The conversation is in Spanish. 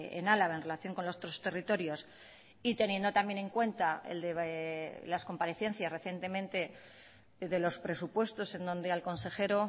en álava en relación con los tres territorios y teniendo también en cuenta las comparecencias recientemente de los presupuestos en donde al consejero